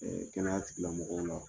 Kɛnɛya tigilamɔgɔw la